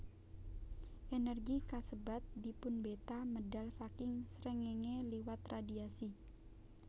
Ènèrgi kasebat dipunbeta medal saking srengéngé liwat radhiasi